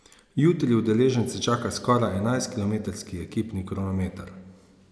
Jutri udeležence čaka skoraj enajstkilometrski ekipni kronometer.